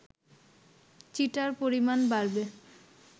cheater পরিমাণ বাড়বে